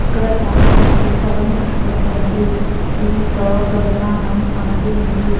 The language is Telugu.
ఇక్కడ చాల కాళీ స్థలం కనపడుతుంది దీంట్లో ఒక విమానం ఆగి ఉంది.